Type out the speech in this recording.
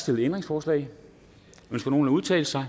stillet ændringsforslag ønsker nogen at udtale sig